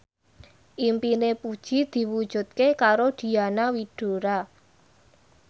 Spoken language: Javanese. impine Puji diwujudke karo Diana Widoera